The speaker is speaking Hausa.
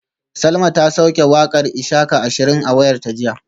Salma ta sauke wakar ishaka ashirin a wayarta jiya